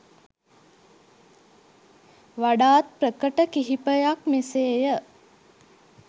වඩාත් ප්‍රකට කිහිපයක් මෙසේය.